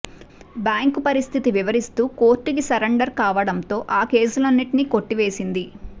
bank పరిస్థితి వివరిస్తూ కోర్టుకి సరెండర్ కావడంతో ఆ కేసులన్నింటినీ కొట్టివేసింది